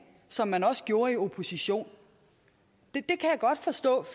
som man også gjorde i opposition det kan jeg godt forstå